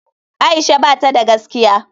Aisha bata da gaskiya.